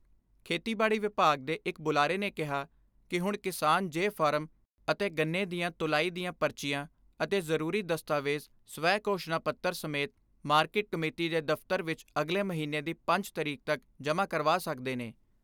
ਖੇਤੀਬਾੜੀ ਵਿਭਾਗ ਦੇ ਇੱਕ ਬੁਲਾਰੇ ਨੇ ਕਿਹਾ ਕਿ ਹੁਣ ਕਿਸਾਨ ਜੇ ਫਾਰਮ ਅਤੇ ਗੰਨੇ ਦਆਂ ਤੁਲਾਈ ਦੀਆਂ ਪਰਚੀਆਂ ਅਤੇ ਜਰੂਰੀ ਦਸਤਾਵੇਜ ਸਵੈ ਘੋਸ਼ਣਾ ਪੱਤਰ ਸਮੇਤ ਮਾਰਕਿਟ ਕਮੇਟੀ ਦੇ ਦਫਤਰ ਵਿਚ ਅਗਲੇ ਮਹੀਨੇ ਦੀ ਪੰਜ ਤਾਰੀਕ ਤੱਕ ਜਮ੍ਹਾ ਕਰਵਾ ਸਕਦੇ ਨੇ।